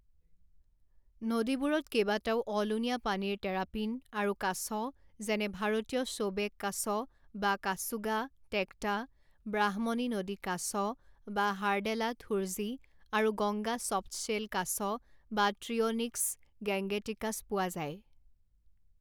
নদীবোৰত কেইবাটাও অলুণীয়া পানীৰ টেৰাপিন আৰু কাছ যেনে ভাৰতীয় শ্ব'বেক কাছ বা কাচুগা টেকটা ব্ৰাহ্মণী নদী কাছ বা হাৰডেলা থুৰজি আৰু গংগা চফ্টশ্বেল কাছ বা ট্ৰিঅ'নিক্স গেঙ্গেটিকাছ পোৱা যায়।